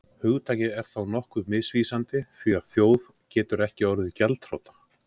hugtakið er þó nokkuð misvísandi því að þjóð getur ekki orðið gjaldþrota